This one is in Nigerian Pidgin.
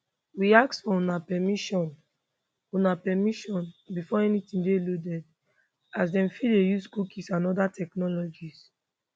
we ask for una permission una permission before anytin dey loaded as dem fit dey use cookies and oda technologies